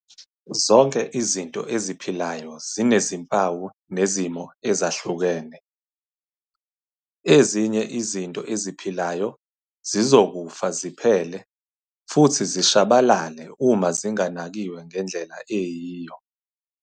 Zonke izinto eziphilayo zinezimpawu nezimo ezahlukene. Ezinye izinto eziphilayo zizokufa ziphele futhi zishabalale uma zinganakiwe ngendlela eyiyo.